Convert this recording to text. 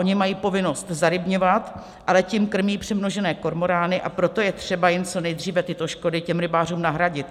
Oni mají povinnost zarybňovat, ale tím krmí přemnožené kormorány, a proto je třeba jim co nejdříve tyto škody, těm rybářům, nahradit.